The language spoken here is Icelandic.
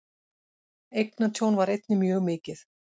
Eignatjón var einnig mjög mikið.